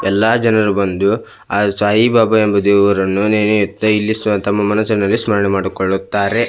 ಎಲ್ಲಾ ಜನರು ಬಂದು ಆ ಸಾಯಿಬಾಬಾ ಎಂಬ ದೇವರನ್ನು ನೆನೆಯುತ್ತಾ ಇಲ್ಲಿ ಸ್ವ ತಮ್ಮ ಮನಸ್ಸಿನಲ್ಲೇ ಸ್ಮರಣೆ ಮಾಡಿಕೊಳ್ಳುತ್ತಾರೆ .